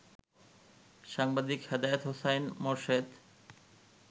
সাংবাদিক হেদায়েত হোসাইন মোরশেদ